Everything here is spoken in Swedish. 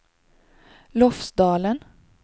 Lofsdalen